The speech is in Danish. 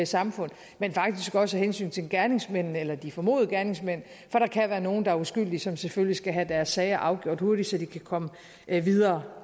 samfund men faktisk også af hensyn til gerningsmændene eller de formodede gerningsmænd for der kan være nogle der er uskyldige som selvfølgelig skal have deres sager afgjort hurtigt så de kan komme videre